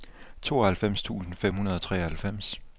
tooghalvfems tusind fem hundrede og treoghalvfems